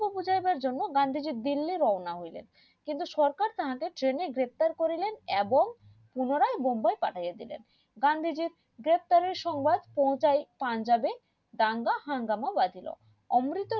দেয়ার জন্য গান্ধীজি দিল্লি রওনা হইলেন কিন্তু সরকার তাহাকে train এ গ্রেফতার করিলেন এবং পুনরায় বোম্বাই পাঠিয়েদিলেন গান্ধীজির গ্রেফতার এর পাঞ্জাবে দাঙ্গা সংবাদ হাঙ্গামা বাজিলেন এবং